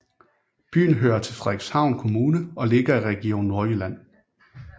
Byen hører til Frederikshavn Kommune og ligger i Region Nordjylland